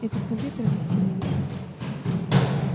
этот компьютер на стене висит